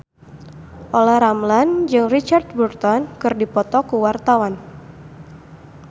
Olla Ramlan jeung Richard Burton keur dipoto ku wartawan